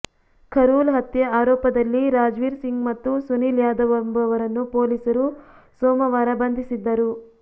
ಖರೂಲ್ ಹತ್ಯೆ ಆರೋಪದಲ್ಲಿ ರಾಜ್ವೀರ್ ಸಿಂಗ್ ಮತ್ತು ಸುನಿಲ್ ಯಾದವ್ ಎಂಬುವರನ್ನು ಪೊಲೀಸರು ಸೋಮವಾರ ಬಂಧಿಸಿದ್ದರು